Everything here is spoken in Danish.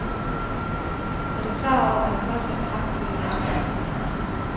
Er du klar over, hvad de koster i fragt på hjemturen.